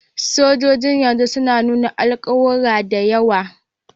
Sojojin na yanzu suna nuna alƙawura da yawa